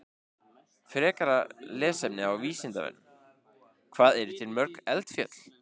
Frekara lesefni á Vísindavefnum: Hvað eru til mörg eldfjöll?